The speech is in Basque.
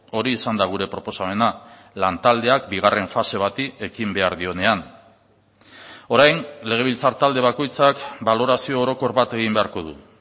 hori izan da gure proposamena lantaldeak bigarren fase bati ekin behar dionean orain legebiltzar talde bakoitzak balorazio orokor bat egin beharko du